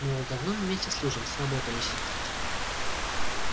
мол давно вместе служим сработались